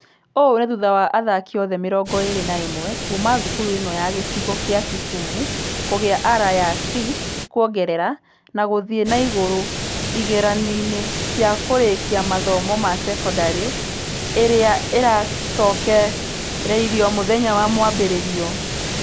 Ũũ nĩ thutha wa athaki othe mĩrongo ĩrĩ na ĩmwe kuuma thukuru ĩno ya gĩcigo gĩa kisumu kũgĩa ara ya C kuongerera na gũthie na igũrũ igeranio-inĩ cia kũrĩkia mathomo ma sekondarĩ irĩa irarekereirio mũthenya wa mwambĩrĩrio.